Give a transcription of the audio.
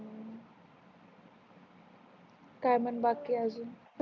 काय म्हण बाकी आहे अजून